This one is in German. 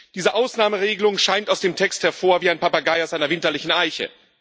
Diese Ausnahmeregelung scheint aus dem Text hervor wie ein Papagei aus einer winterlichen Eiche.